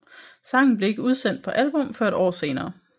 Sangen blev ikke udsendt på album før et år senere